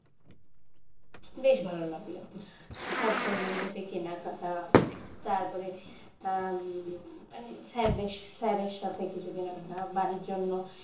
বেশ ভালো লাগলো সব বন্ধুদের সাথে কেনাকাটা তারপরে উম মানে হ্যাঁ বেশ sir এর সাথে কিছু কেনা কাটা বাড়ির জন্য